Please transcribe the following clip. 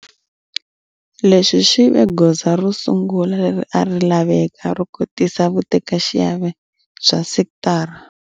Leswi swi ve goza ro sungula leri a ri laveka ro kotisa vutekaxiave bya sekitara